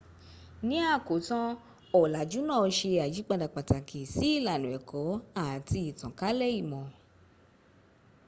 ní àkótán ọ̀làjú náà se àyípadà pàtàkì sí ilànà ẹ̀kọ́ àti ìtànkálẹ̀ ìmọ̀